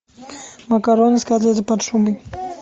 макароны с котлетой под шубой